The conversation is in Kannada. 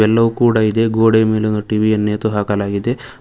ಎಲ್ಲವೂ ಕೂಡ ಇದೆ ಗೋಡೆ ಮೇಲೊಂದು ಟಿ_ವಿ ಯನ್ನು ನೇತು ಹಾಕಲಾಗಿದೆ.